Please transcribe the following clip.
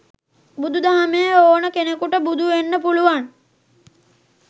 බුදු දහමේ ඕනේ කෙනෙකුට බුදු වෙන්න පුළුවන්